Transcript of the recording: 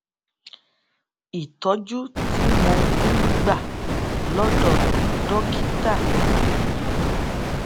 ìtójú tí mò ń gbà lódò dókítà yìí